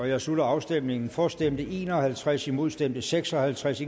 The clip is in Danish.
jeg slutter afstemningen for stemte en og halvtreds imod stemte seks og halvtreds